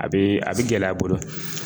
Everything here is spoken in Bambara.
A bɛ a bɛ gɛlɛya a bolo